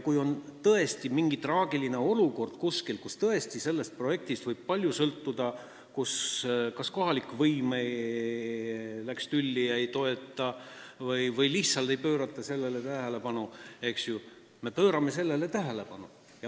Kui on tõesti mingi traagiline olukord kuskil, kus sellest projektist võib palju sõltuda, kas on kohalik võim tülli läinud ja ei toeta või lihtsalt ei pöörata sellele tähelepanu, siis meie pöörame tähelepanu.